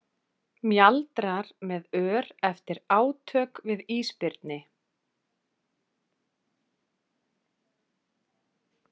Mjaldrar með ör eftir átök við ísbirni.